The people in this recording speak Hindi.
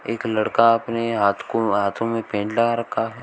एक लड़का अपने हाथ को हाथों में पेंट लगा रखा--